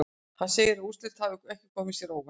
Hann segir að úrslitin hafi ekki komið sér á óvart.